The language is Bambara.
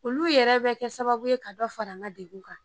Olu yɛrɛ bɛ kɛ sababu ye ka dɔ fara n ka degun kan